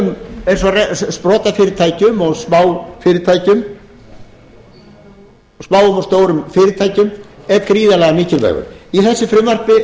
líka í öðrum eins og sprotafyrirtækjum og smáfyrirtækjum smáum og stórum fyrirtækjum er gríðarlega mikilvægur í þessu frumvarpi er hann